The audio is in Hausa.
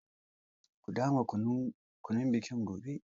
Ku dama kunun bikin gobe.